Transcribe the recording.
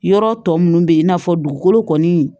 Yɔrɔ tɔ minnu bɛ yen i n'a fɔ dugukolo kɔni